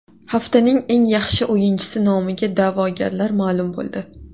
Haftaning eng yaxshi o‘yinchisi nomiga da’vogarlar ma’lum bo‘ldi.